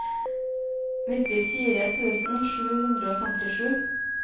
nittifire tusen sju hundre og femtisju